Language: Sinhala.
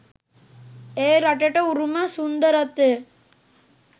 ඒ රටට උරුම සුන්දරත්වය